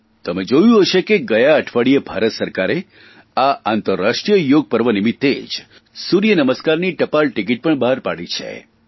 તમે જોયું હશે કે ગયા અઠવાડિયે ભારત સરકાર આ આંતરરાષ્ટ્રીય યોગ પર્વ નિમિત્તે જ સૂર્યનમસ્કારની ટપાલટિકીટ પણ બહાર પાડી છે